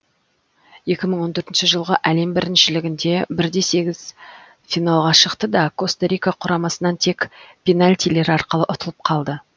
екі мың он төртінші жылғы әлем біріншілігінде бір де сегіз финалға шықты да коста рика құрамасынан тек пенальтилер арқылы ұтылып қалды